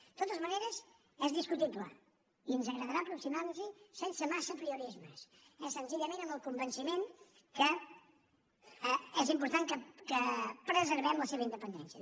de totes maneres és discutible i ens agradarà aproximar nos hi sense massa apriorismes és senzillament amb el convenciment que és important que preservem la seva independència